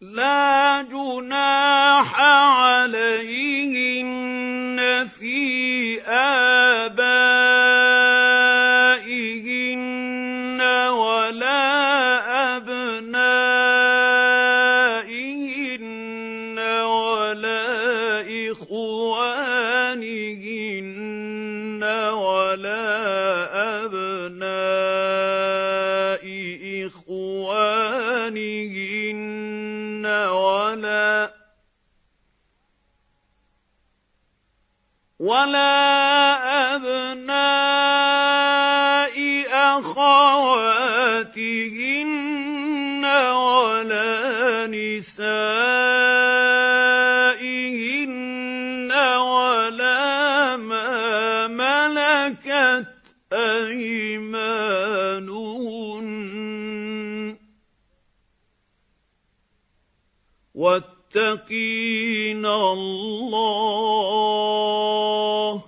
لَّا جُنَاحَ عَلَيْهِنَّ فِي آبَائِهِنَّ وَلَا أَبْنَائِهِنَّ وَلَا إِخْوَانِهِنَّ وَلَا أَبْنَاءِ إِخْوَانِهِنَّ وَلَا أَبْنَاءِ أَخَوَاتِهِنَّ وَلَا نِسَائِهِنَّ وَلَا مَا مَلَكَتْ أَيْمَانُهُنَّ ۗ وَاتَّقِينَ اللَّهَ ۚ